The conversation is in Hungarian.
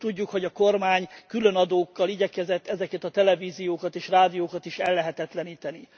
De tudjuk, hogy a kormány különadókkal igyekezett ezeket a televíziókat és rádiókat is ellehetetleníteni.